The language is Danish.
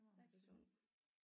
Stakkels hund